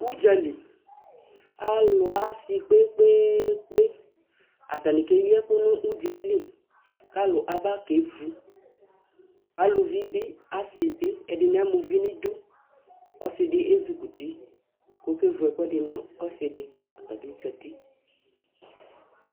udzali ɑsikpekpekpenɑtani keyieku nu udzaeli kɑlu ɑbakevu aluvibi ɑsibi ed eni amauvi nidu ɔsidi ɛzukuti ku okevu ɛkuedi nɔsidi ɔtabizati kuɔkevu ɛkuedi ɔtabizati